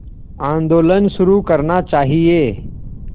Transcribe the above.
आंदोलन शुरू करना चाहिए